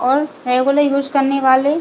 और regular use करने वाले --